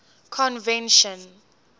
convention